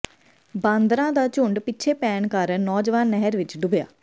ਬਾਂਦਰਾਂ ਦਾ ਝੁੰਡ ਪਿੱਛੇ ਪੈਣ ਕਾਰਨ ਨੌਜਵਾਨ ਨਹਿਰ ਵਿੱਚ ਡੁੱਬਿਆ